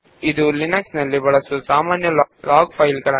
ಇವುಗಳು ಲಿನಕ್ಸ್ ನಲ್ಲಿ ಸಾಮಾನ್ಯವಾಗಿ ಬಳಸಲ್ಪಡುವ ಲಾಗ್ ಫೈಲ್ ಗಳು